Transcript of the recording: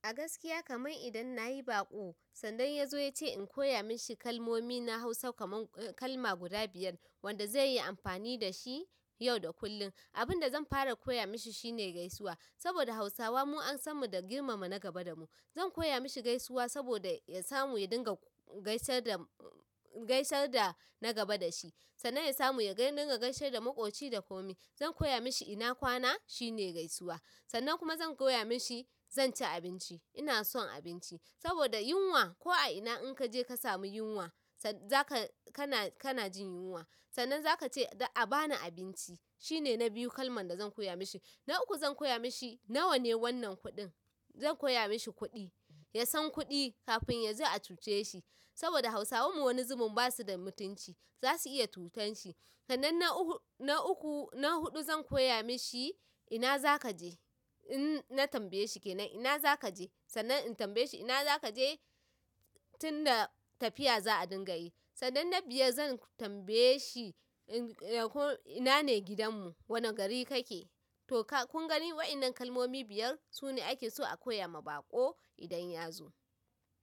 A gaskiya kamar idan nayi baƙo, sannan ya zo ya ce in koya mashi kalmomi na Hausa kaman kalma guda biyar, wanda zaiyi amfani dashi yau da kullum. Abinda zan fara koya mishi shine gaisuwa, saboda Hausawa mu an sanmu da girmama na gaba damu. Zan koya mashi gaisuwa, saboda ya samu ya dinga gaisar da na gaba dashi. Sannan ya samu ya dinga gaisar da maƙoci da komi. Zan koya mashi ina kwana, shine gaisuwa. Sannan kuma zan koya mashi zan ci abinci, ina son abinci. Saboda yunwa ko a ina in kaje ka samu yunwa, kana jin yunwa sannan zaka ce a bani abinci. Shine na biyu kalman da zan koya mashi. Na uku, zan koya mashi nawa ne wannan kuɗin. Zan koya mashi kuɗi, ya san kuɗi kafin yazo a cuce shi. Saboda Hausawan mu wani zubin ba su da mutunci, zasu iya cutan shi. Sannan na huɗu, zan koya mashi ina zaka je in na tambaye shi kenan ina zaka je sannan in tambaye shi ina zaka je tunda tafiya za a dinga yi. Sannan na biyar, zan tambaye shi ina ne gidanmu, wane gari kake? To kun gani waɗannan kalmomi biyar, su ne ake so a koya ma baƙo idan ya zo.